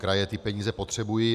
Kraje ty peníze potřebují.